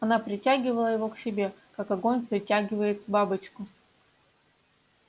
она притягивала его к себе как огонь притягивает бабочку